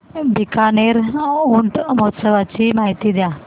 बीकानेर ऊंट महोत्सवाची माहिती द्या